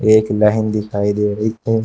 एक लाइन दिखाई दे रही है।